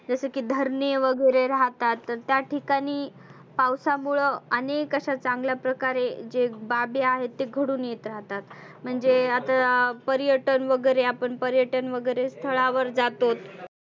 जस की धरने वगैरे राहतात तर त्या ठिकाणी पावसामुळ आनेक असा चांगल्या प्रकारे बाबी आहेत ते घडुन येत राहतात. म्हणजे आता पर्यटन वगैरे आपण पर्यटन वगैरे स्थळावर जातोत.